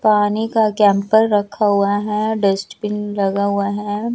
पानी का कैंपर रखा हुआ है डस्टबिन लगा हुआ है।